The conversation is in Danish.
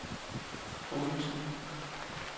Odense